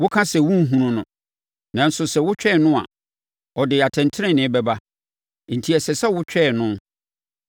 Woka sɛ wonhunu no, nanso sɛ wotwɛn no a, ɔde atɛntenenee bɛba enti ɛsɛ sɛ wotwɛn no.